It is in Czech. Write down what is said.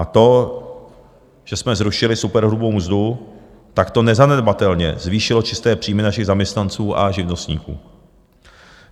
A to, že jsme zrušili superhrubou mzdu, tak to nezanedbatelně zvýšilo čisté příjmy našich zaměstnanců a živnostníků.